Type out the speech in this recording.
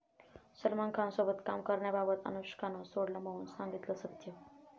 सलमान खानसोबत काम करण्याबाबत अनुष्कानं सोडलं मौन, सांगितलं सत्य